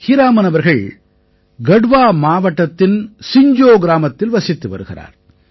ஹீராமன் அவர்கள் கட்வா மாவட்டத்தின் சிஞ்ஜோ கிராமத்தில் வசித்து வருகிறார்